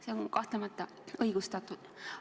See on kahtlemata õigustatud.